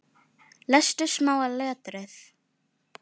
Er róleg.